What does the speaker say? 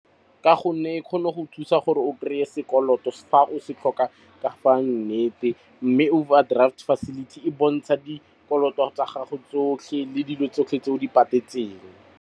ka gonne e kgone go thusa gore o krey e sekoloto fa o se tlhoka ka fa nnete mme overdraft facility e bontsha dikoloto tsa gago tsotlhe le dilo tsotlhe tse o di patetse teng